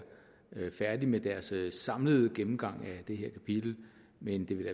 færdig med deres samlede gennemgang af det her kapitel men det vil